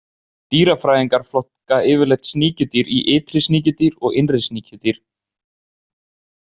Dýrafræðingar flokka yfirleitt sníkjudýr í ytri sníkjudýr og innri sníkjudýr.